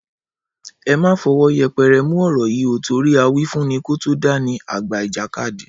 Ẹ má fọwọ́ yẹpẹrẹ mú ọ̀rọ̀ yìí ó torí awífúnni kó tó dání, àgbà ìjàkadì